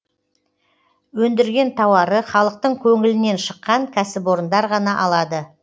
өндірген тауары халықтың көңілінен шыққан кәсіпорындар ғана алады